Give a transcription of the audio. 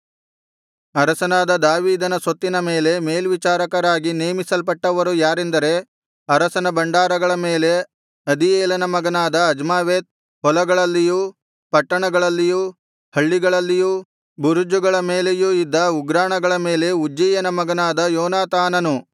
ಅರಸನಾದ ದಾವೀದನ ಸೊತ್ತಿನ ಮೇಲೆ ಮೇಲ್ವಿಚಾರಕರಾಗಿ ನೇಮಿಸಲ್ಪಟ್ಟವರು ಯಾರೆಂದರೆ ಅರಸನ ಭಂಡಾರಗಳನ್ನು ಅದೀಯೇಲನ ಮಗನಾದ ಅಜ್ಮಾವೆತ್ ಹೊಲದಲ್ಲಿಯೂ ಪಟ್ಟಣಗಳಲ್ಲಿಯೂ ಹಳ್ಳಿಗಳಲ್ಲಿಯೂ ಬುರುಜಗಳ ಮೇಲೆ ಇದ್ದ ಉಗ್ರಾಣಗಳನ್ನು ಉಜ್ಜೀಯನ ಮಗನಾದ ಯೋನಾತಾನನು ಇದ್ದನು